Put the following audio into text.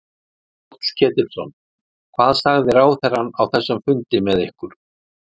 Páll Ketilsson: Hvað sagði ráðherrann á þessum fundi með ykkur?